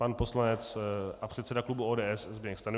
Pan poslanec a předseda klubu ODS Zbyněk Stanjura.